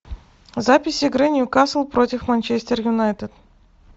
запись игры ньюкасл против манчестер юнайтед